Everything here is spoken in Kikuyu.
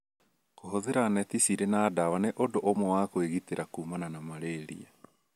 Kũhũthĩra neti cirĩ na ndawa nĩ ũndũ ũmwe wa kwĩgitĩra kuumana na malaria.